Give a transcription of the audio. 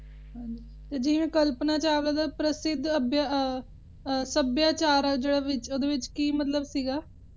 ਜਿਵੇਂ ਕਲਪਨਾ ਚਾਵਲਾ ਪ੍ਰਸਿੱਧ ਸੱਭਿਆਚਾਰ ਸੀ ਓਹਦੇ ਵਿੱਚ ਕਿ ਸੀ ਮਤਲਬ